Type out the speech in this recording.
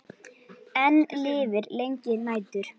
Enn lifir lengi nætur.